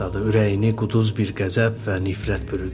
Ürəyini quduz bir qəzəb və nifrət bürüdü.